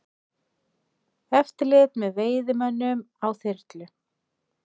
Eftirlit með veiðimönnum á þyrlu